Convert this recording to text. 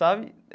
Sabe?